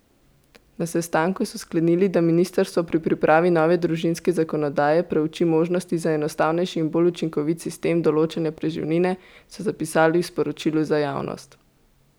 Na sestanku so sklenili, da ministrstvo pri pripravi nove družinske zakonodaje preuči možnosti za enostavnejši in bolj učinkovit sistem določanja preživnine, so zapisali v sporočilu za javnost.